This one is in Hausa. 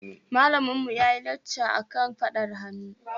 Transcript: Malaminmu ya yi lacca akan faɗar hannu.